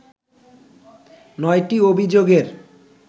৯টি অভিযোগের